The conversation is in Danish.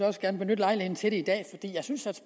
også gerne benytte lejligheden til det i dag fordi jeg synes